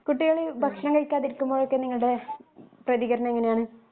കുട്ടികൾ ഭക്ഷണം കഴിക്കാതിരിക്കുമ്പഴേല്ലാം നിങ്ങളുടെ പ്രീതികരണം എങ്ങനെയാണു